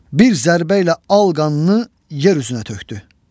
Bir zərbə ilə al qanını yer üstünə tökdü.